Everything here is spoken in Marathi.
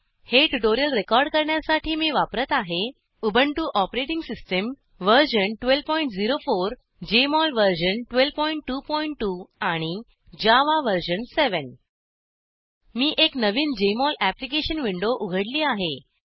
हे ट्युटोरिअल रेकॉर्ड करण्यासाठी मी वापरत आहे Ubuntu OS version 1204 Jmol version 1222 आणि जावा वर्जन 7 मी एक नवीन जेएमओल अप्लिकेशन विंडो उघडली आहे